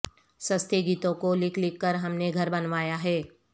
سستے گیتوں کو لکھ لکھ کر ہم نے گھر بنوایا ہے